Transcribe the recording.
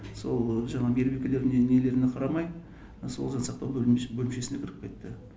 сол жаңағы мейірбикелеріне нелеріне қарамай сол жансақтау бөлімшесіне кіріп кетті